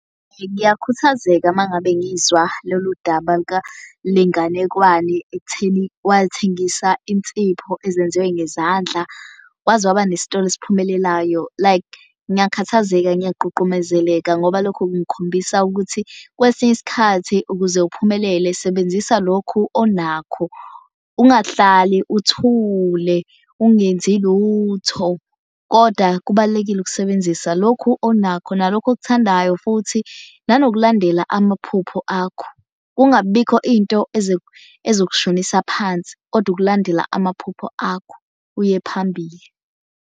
Ngiyakhuthazeka uma ngabe ngizwa lolu daba lenganekwane ekutheni wathengisa insipho ezenziwe ngezandla, waze waba nesitolo esiphumelelayo. Like ngiyakhathazeka, ngiyaqhuqhumezeleka ngoba lokho kungikhombisa ukuthi kwesinye isikhathi ukuze uphumelele sebenzisa lokhu onakho. Ungahlali uthule ungenzi lutho kodwa kubalulekile ukusebenzisa lokhu onakho nalokhu okuthandayo futhi nanokulandela amaphupho akho. Kungabibikho into ezokushonisa phansi kodwa ukulandela amaphupho akho uye phambili.